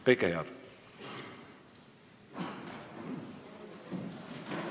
Kõike head!